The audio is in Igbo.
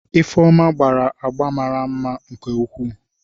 Ifeoma gbara agba mara mma nke ukwuu.